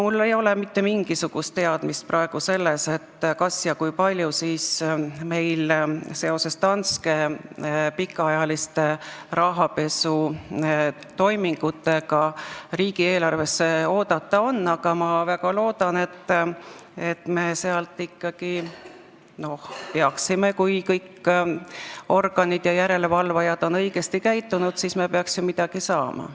Mul ei ole praegu mitte mingisugust teadmist, kas ja kui palju meil seoses Danske pikaajaliste rahapesutoimingutega riigieelarvesse lisa oodata on, aga me ikkagi peaksime, kui kõik organid ja järelevalvajad on õigesti käitunud, sealt ju midagi saama.